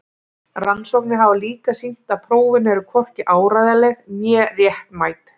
Rannsóknir hafa líka sýnt að prófin eru hvorki áreiðanleg né réttmæt.